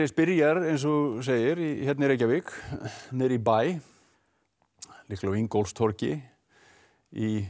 byrjar eins og þú segir hérna í Reykjavík niðri í bæ líklega á Ingólfstorgi í